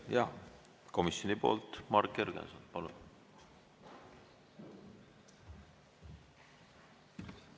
Jah, komisjoni poolt Marek Jürgenson, palun!